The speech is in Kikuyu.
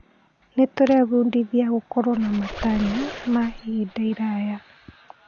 Nĩtũrebundithia gũkorwo na matanya ma ihinda iraya?